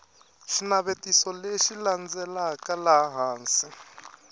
xinavetiso lexi landzelaka laha hansi